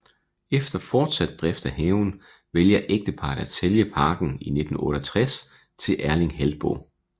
Efter fortsat drift af haven vælger ægteparret at sælge parken i 1968 til Erling Heltboe